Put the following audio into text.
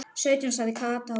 Sautján sagði Kata og ropaði.